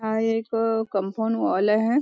हा एक compound wall आहे.